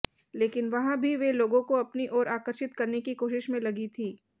लेकिन वहाँ भी वे लोगों को अपनी ओर आकर्षित करने की कोशिश में लगी थी